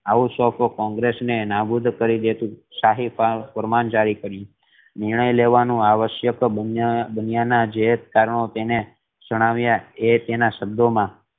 આવું કોંગ્રેસ ને નાબૂદ કરી દેતું સાહેબાન ફરમાન જારી કર્યું નિર્ણય લેવાનો આવશયક બન્યાના જે કારણો તેણે જણાવ્યા એ એના શબ્દો મા